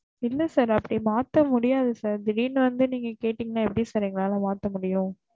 இல்ல sir அப்டி மாத்த முடியாது sir திடீர்ன்னு வந்து நீங்க கேட்டேங்கனா எப்டி sir எங்களால மாத்த முடியும்